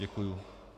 Děkuji.